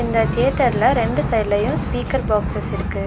இந்த தியேட்டர்ல ரெண்டு சைட்லையு ஸ்பீக்கர் பாக்ஸஸ் இருக்கு.